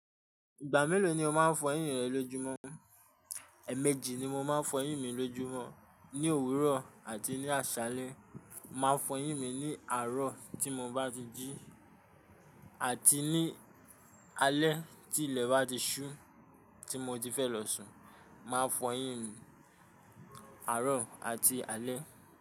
Ìgbà mélòó ni o máa ń fọyín rẹ lójúmọ́? Ẹ̀ẹ̀mejì ni mo máa ń fọyín mi lójúmọ́, ní òwúrọ̀ àti ní àṣálẹ́. Mo máa fọyín mi ní àárọ̀ tí mo bá ti jí àti ní alé tí ilẹ̀ bá ti ṣú, tí mo ti fẹ́ lọ sùn. Màá fọyín mi àárọ̀ àti alẹ.